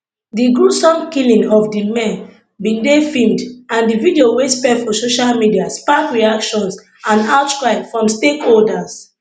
di gruesome killing of di men bin dey filmed and di video wey spread for social media spark reactions and outcry from stakeholders